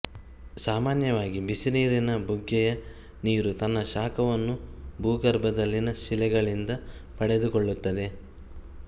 ಸಾಮಾನ್ಯವಾಗಿ ಬಿಸಿನೀರಿನ ಬುಗ್ಗೆಯ ನೀರು ತನ್ನ ಶಾಖವನ್ನು ಭೂಗರ್ಭದಲ್ಲಿನ ಶಿಲೆಗಳಿಂದ ಪಡೆದುಕೊಳ್ಳುತ್ತದೆ